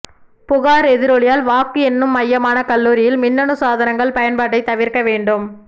புகார் எதிரொலியால் வாக்கு எண்ணும் மையமான கல்லூரியில் மின்னணு சாதனங்கள் பயன்பாட்டை தவிர்க்க வேண்டும்